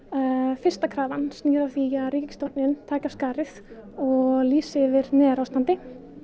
fyrsta krafan snýr að því að ríkisstjórnin taki af skarið og lýsi yfir neyðarástandi